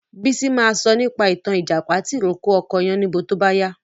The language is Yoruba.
Bísí ma sọ nípa ìtàn Ìjàpá tì rókò ọkọ Yáníbo tó bá yá